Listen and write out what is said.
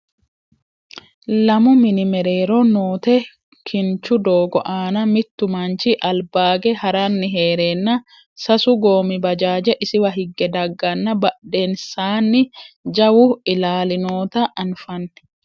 lamu mini mereero noote kinchu doogo aana mittu manchi albaage haranni heereenna sasu goommi bajaaje isiwa higge dagganna badhensaani jawu ilaali noota anfanni